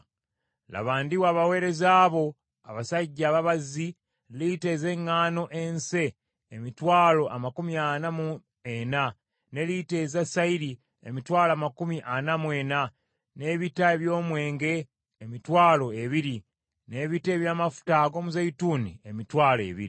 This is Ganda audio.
Laba, ndiwa abaweereza bo, abasajja ababazzi, lita ez’eŋŋaano ense emitwalo amakumi ana mu ena, ne lita eza sayiri, emitwalo amakumi ana mu ena, n’ebita eby’omwenge emitwalo ebiri, n’ebita eby’amafuta ag’omuzeeyituuni emitwalo ebiri.”